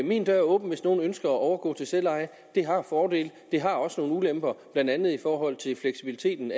min dør er åben hvis nogen ønsker at overgå til selveje det har fordele det har også nogle ulemper blandt andet i forhold til fleksibiliteten